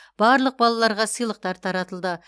барлық балаларға сыйлықтар таратылды